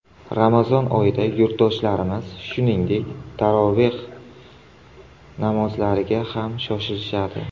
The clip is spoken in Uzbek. Ramazon oyida yurtdoshlarimiz, shuningdek, taroveh namozlariga ham shoshiladi.